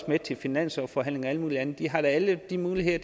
med til finanslovsforhandlinger og alt muligt andet de har da alle muligheder